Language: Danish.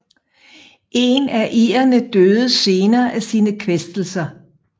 En af irerne døde senere af sine kvæstelser